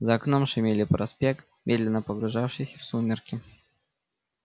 за окном шумели проспект медленно погружающийся в сумерки